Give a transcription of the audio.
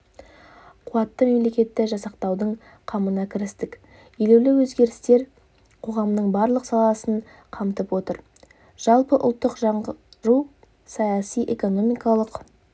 қуатты мемлекетті жасақтаудың қамына кірістік елеулі өзгерістер қоғамның барлық саласын қамтып отыр жалпыұлттық жаңғыру саяси-экономикалық